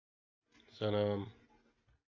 салам